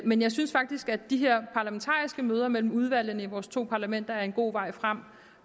men jeg synes faktisk at de her parlamentariske møder mellem udvalgene i vores to parlamenter er en god vej frem